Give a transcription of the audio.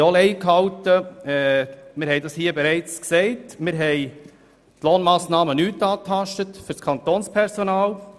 Die Lohnmassnahmen für das Kantonspersonal haben wir auch nicht angetastet.